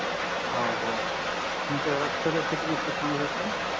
हो हो सांगू शकता